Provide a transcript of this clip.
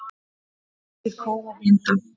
Mikið kóf og blinda